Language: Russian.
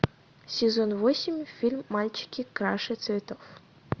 сезон восемь фильм мальчики краше цветов